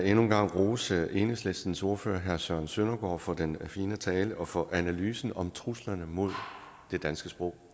en gang rose enhedslistens ordfører herre søren søndergaard for den fine tale og for analysen om truslerne mod det danske sprog